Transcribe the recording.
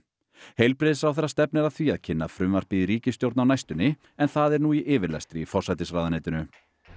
heilbrigðisráðherra stefnir að því að kynna frumvarpið í ríkisstjórn á næstunni en það er nú í yfirlestri í forsætisráðuneytinu